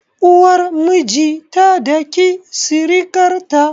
Uwar miji ta daki sirikar ta